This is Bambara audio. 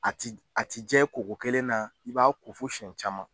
A ti a ti jɛ ko ko kelen na i b'a ko fo siyɛn caman.